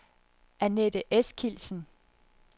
Anette Eskildsen